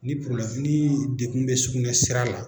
Ni kurulafini defun bɛ sugunɛ sira la